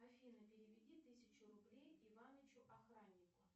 афина переведи тысячу рублей иванычу охраннику